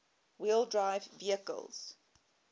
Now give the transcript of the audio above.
wheel drive vehicles